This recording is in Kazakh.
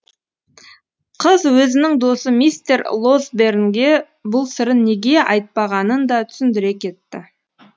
қыз өзінің досы мистер лосбернге бұл сырын неге айтпағанын да түсіндіре кетті